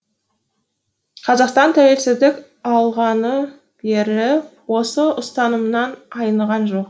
қазақстан тәуелсіздік алғалы бері берік осы ұстанымнан айныған жоқ